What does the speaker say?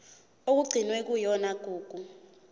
okugcinwe kuyona igugu